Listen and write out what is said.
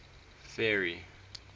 ferry